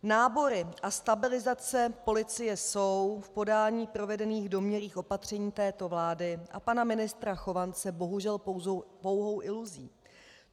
Nábory a stabilizace policie jsou v podání provedených domnělých opatření této vlády a pana ministra Chovance bohužel pouhou iluzí.